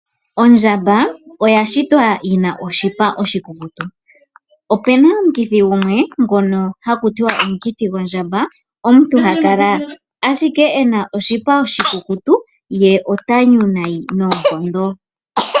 Ondjamba oya shitwa yina oshipa oshikukutu, opuna omukithi gumwe ngono haku tiwa omukithi gwondjamba omuntu ta kala ashike ena oshipa oshikukutu ye ota nyu nayi noonkondo.